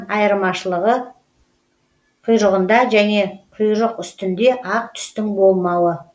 ал тасшыбжықтан айырмашылығы құйрығында және құйрықүстінде ақ түстің болмауы